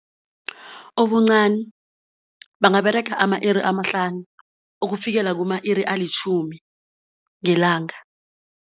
Obuncani bangaberega ama-iri amahlanu ukufikela kuma-iri alitjhumi ngelanga.